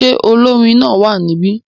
Ṣé olórin náà wà níbí?